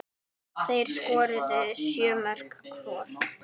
Þeir skoruðu sjö mörk hvor.